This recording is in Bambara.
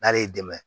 N'ale y'i dɛmɛ